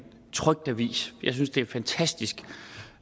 trykt avis jeg synes det er fantastisk